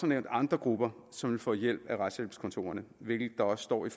nævnt andre grupper som vil få hjælp af retshjælpskontorerne hvilket der også står i